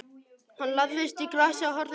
Hann lagðist í grasið og horfði uppí loftið.